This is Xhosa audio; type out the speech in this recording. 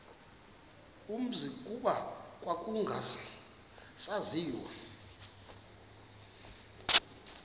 umzi kuba kwakungasaziwa